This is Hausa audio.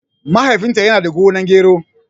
Mahaifin ta yana da gonar gero